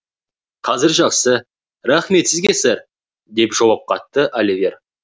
қазір жақсы рахмет сізге сэр деп жауап қатты оливер